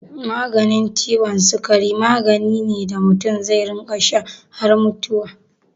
Maganin ciwon sikari magani ne da mutum zai rinƙa sha har mutuwa.